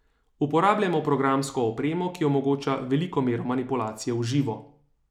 Uporabljamo programsko opremo, ki omogoča veliko mero manipulacije v živo.